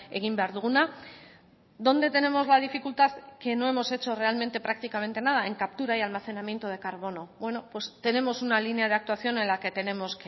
egin behar duguna dónde tenemos la dificultad que no hemos hecho realmente prácticamente nada en captura y almacenamiento de carbono tenemos una línea de actuación en la que tenemos